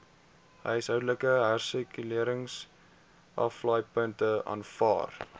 huishoudelike hersirkuleringsaflaaipunte aanvaar